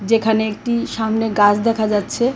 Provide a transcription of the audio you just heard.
যেখানে একটি সামনে গাছ দেখা যাচ্ছে .